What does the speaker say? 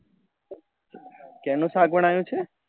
શેનું શાક બન્યું છે?